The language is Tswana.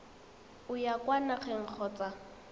o ya kwa nageng kgotsa